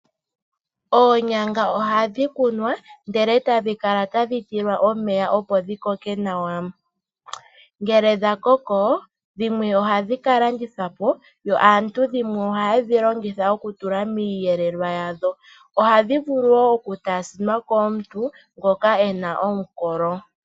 Oonyanga ohadhi kunwa, e tadhi kala tadhi tilwa omeya opo dhi koke nawa. Ngele dha koko dhimwe ohadhi ka landithwa po, dhimwe aantu ohaye dhi longitha okutula miiyelelwa yawo. Ohadhi vulu wo okutaasinwa komuntu ngoka ena omukolo.